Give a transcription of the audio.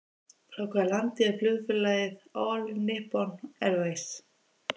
Frá hvaða landi er flugfélagið All Nippon Airways?